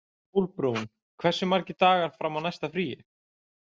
Sólbrún, hversu margir dagar fram að næsta fríi?